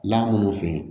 La minnu fɛ